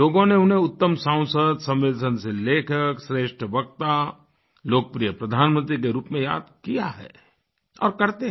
लोगों ने उन्हें उत्तम सांसद संवेदनशील लेखक श्रेष्ठ वक्ता लोकप्रिय प्रधानमंत्री के रूप में याद किया है और करते हैं